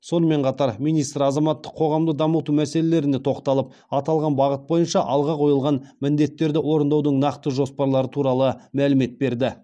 сонымен қатар министр азаматтық қоғамды дамыту мәселелеріне тоқталып аталған бағыт бойынша алға қойылған міндеттерді орындаудың нақты жоспарлары туралы мәлімет берді